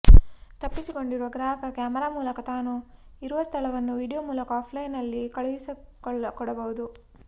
ತಪ್ಪಿಸಿಕೊಂಡಿರುವ ಗ್ರಾಹಕ ಕ್ಯಾಮೆರಾ ಮೂಲಕ ತಾನು ಇರುವ ಸ್ಥಳವನ್ನು ವಿಡಿಯೊ ಮೂಲಕ ಆಫ್ಲೈನ್ನಲ್ಲಿ ಕಳುಹಿಸಿಕೊಡಬಹುದು